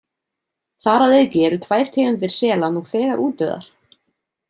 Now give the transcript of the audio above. Þar að auki eru tvær tegundir sela nú þegar útdauðar.